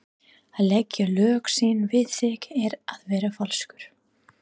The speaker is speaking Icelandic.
Að leggja lög sín við þig er að vera falskur.